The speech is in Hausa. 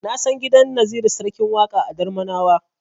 Na san gidan Naziru Sarkin Waƙa a Darmanawa.